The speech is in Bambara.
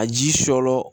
A ji sɔrɔ